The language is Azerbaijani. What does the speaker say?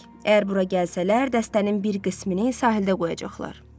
Əgər bura gəlsələr, dəstənin bir qismini sahildə qoyacaqlar.